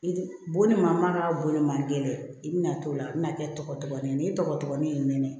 I bonni ma ka bolo ma gɛlɛn i bina t'o la i bi na kɛ tɔgɔtɔgɔnin ye ni tɔgɔtɔgɔnin y'i nɛnɛ